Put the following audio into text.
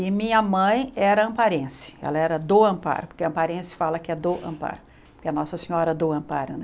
E minha mãe era amparense, ela era do Ampar, porque amparense fala que é do Ampar, que é Nossa Senhora do Amparo, né?